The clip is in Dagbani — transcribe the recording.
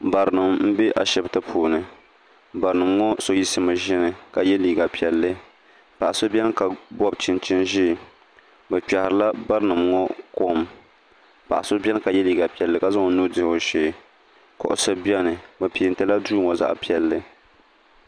Barinima m be ashipti puuni barinima ŋɔ so yiɣisimi zini ka ye liiga piɛlli paɣa so biɛni ka bobi chinchini ʒee bɛ kpehira barinima ŋɔ kom paɣa ka ye liiga piɛlli ka zaŋ o nuu dihi o shee kuɣusi biɛni bɛ pentila duu ŋɔ zaɣa piɛlli.